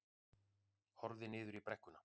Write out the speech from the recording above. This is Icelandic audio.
Horfði niður í brekkuna.